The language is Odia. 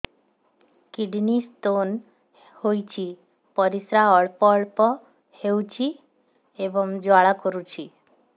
କିଡ଼ନୀ ସ୍ତୋନ ହୋଇଛି ପରିସ୍ରା ଅଳ୍ପ ଅଳ୍ପ ହେଉଛି ଏବଂ ଜ୍ୱାଳା କରୁଛି